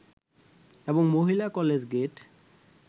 এবং মহিলা college gate